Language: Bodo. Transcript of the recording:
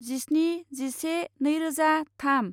जिस्नि जिसे नैरोजा थाम